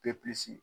Bepisi